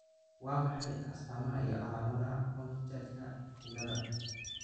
Waa maxay astamaha iyo calaamadaha Olmstedka ciladha?